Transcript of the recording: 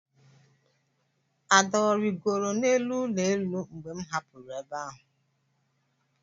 Ada ọ rịgoro n'elu ụlọ elu mgbe m hapụrụ ebe ahụ?